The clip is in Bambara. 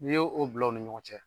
Ni ye o bila u ni ɲɔgɔn cɛ